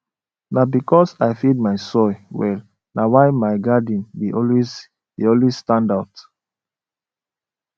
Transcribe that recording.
na because i feed my soil well na why my garden dey always dey always stand out